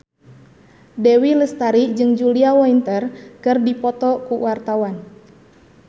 Dewi Lestari jeung Julia Winter keur dipoto ku wartawan